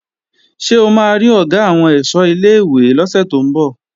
Ṣé o máa rí Ọ̀gá àwọn ẹ̀ṣọ́ ilé-ìwé lọ́sẹ̀ tó ń bọ̀?